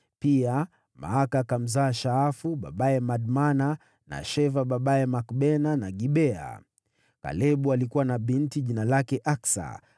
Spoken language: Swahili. Pia Maaka akamzaa Shaafu babaye Madmana, na Sheva babaye Makbena na Gibea. Kalebu alikuwa na binti jina lake Aksa.